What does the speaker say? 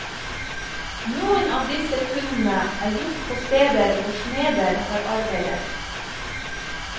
Noen av disse funnene er gjort på steder hvor smeder har arbeidet.